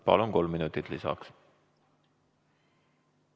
Palun, kolm minutit lisaks!